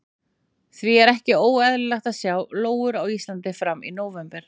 Því er ekki óeðlilegt að sjá lóur á Íslandi fram í nóvember.